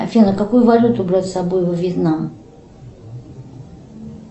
афина какую валюту брать с собой во вьетнам